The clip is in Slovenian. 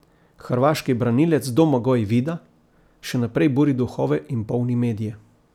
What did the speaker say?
Hrvaški branilec Domagoj Vida še naprej buri duhove in polni medije.